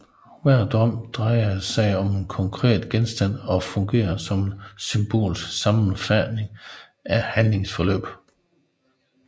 Hver drøm drejer sig om en konkret genstand og fungerer som en symbolsk sammenfatning af handlingsforløbet